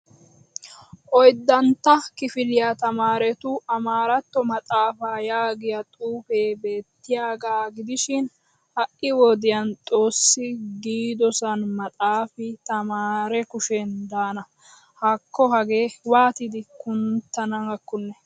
Oyddantta kifiliya tamaarettu amaaratto maxaafaa yaagiya xufee beettiyaagaa gidishiin ha'i wodiyan xoossi giidosaan maxaafi tamaare kushen daana! Hakko hagee waatidi kunttanaakonne.